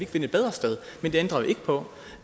finde et bedre sted men det ændrer jo ikke på